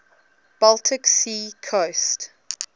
baltic sea coast